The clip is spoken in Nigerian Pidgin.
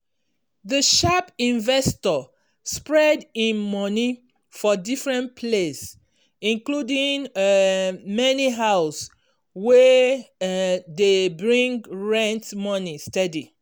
di sharp investor spread him money for different place including um many house wey um dey bring rent money steady.